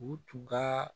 U tun ka